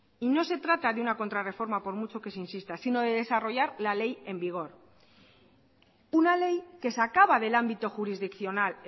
y no se trata de una contrarreforma por mucho que se insista sino de desarrollar la ley en vigor una ley que sacaba del ámbito jurisdiccional